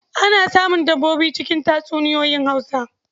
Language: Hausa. Ana samun dabbobi a cikin tatsuniyoyin Hausa.